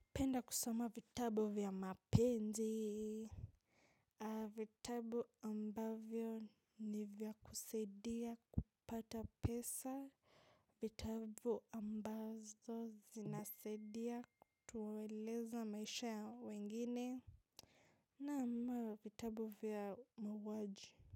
Penda kusoma vitabu vya mapenzi. Vitabu ambavyo ni vya kusaidia kupata pesa. Vitabu ambazo zinasaidia kutueleza maisha ya wengine. Naam mara vitabu vya mauaji.